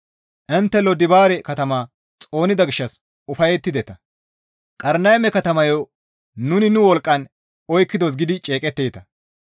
Intte Lodibaare katama xoonida gishshas ufayettideta; «Qarnayme katamayo nuni nu wolqqan oykkidos» gidi ceeqetteeta.